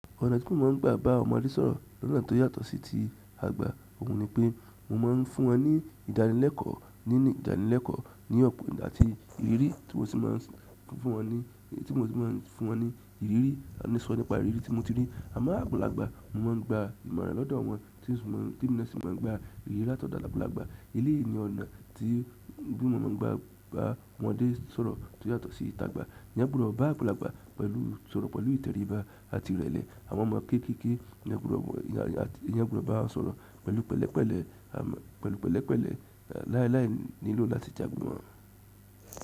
Ọ̀nà tí mo máa ń gbà bá ọmọdé sọ̀rọ̀ ní ọ̀nà tó yàtọ̀ sí ti àgbà, òun ni pé mo máa ń fún wọn ní ìdánilẹ́kọ̀ọ́ nínú ìdánilẹ́kọ̀ọ́ ní ọ̀pọ̀ ìgbà àti ìrírí tí mo sì máa ń fún wọn ní, tí mo sì máa ń fún wọn ní ìrírí, àní sọ nípa ìrírí tí mo ti rí. Àmọ́ àgbàlagbà, mo máa ń gba ìmọ̀ràn lọ́dọ̀ wọn tí emi náà sì máa ń gba ìrírí láti ọ̀dọ̀ àgbàlagbà. Eléyìí ni ọ̀nà tí bí mo máa ń gbà bá ọmọdé sọ̀rọ̀ tó yàtọ̀ sí ti àgbà. Eeyán gbòdò bá àgbàlagbà pẹ̀lú sọ̀rọ̀ pẹ̀lú ìtẹríba àti ìrẹ̀lẹ̀. Àwọn ọmọ kéékèé, eeyán gbòdò bá wọn sọ̀rọ̀ pẹ̀lú pẹ̀lẹ́pẹ̀lẹ́, pẹ̀lú pẹ̀lẹ́pẹ̀lẹ́ lálái nílò láti jagbe mo wọn.